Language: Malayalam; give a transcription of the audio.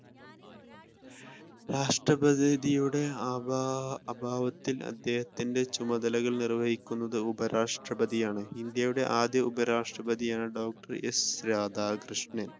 രാഷ്ട്രപതിയുടെ അഭാ അഭാവത്തിൽ അദ്ദേഹത്തിന്റെ ചുമതലകൾ നിർവഹിക്കുന്നത് ഉപരാഷ്ട്രപതിയാണ് ഇന്ത്യയുടെ ആദ്യ ഉപരാഷ്ട്രപതിയാണ് ഡോക്ടർ എസ് രാധാകൃഷ്ണൻ.